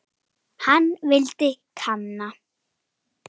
Hann vildi kanna.